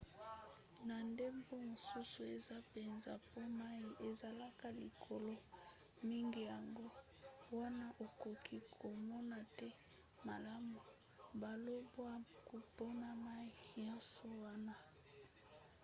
na ndambo mosusu eza mpenza po mai ezalaka likolo mingi yango wana okoki komona te malamu balobwaku—mpona mai nyonso wana!